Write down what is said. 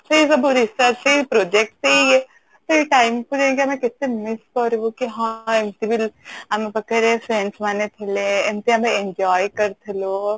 ସେଇ ସବୁ research ସେଇ project ସେଇ ଇଏ ସେଇ time କୁ ନେଇକି ଆମେ କେତେ miss କରିବୁ କି ହଁ ଏମିତି ବି ଆମ ପାଖରେ friends ମାନେ ଥିଲେ ଏମିତି ଆମେ enjoy କରିଥିଲୁ